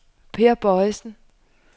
Peer Boysen